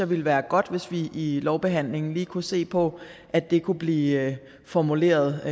ville være godt hvis vi i lovbehandlingen lige kunne se på at det kunne blive formuleret